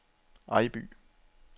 Ejby